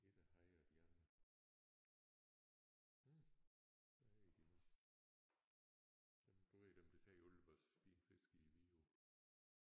Ikke hejre de andre. Hm hvad hedder de nu dem du ved dem der tager alle vores fine fiske i Vidåen